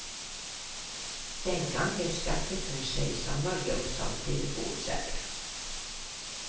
Den gangen skaffet hun seg sommerjobb som telefonselger.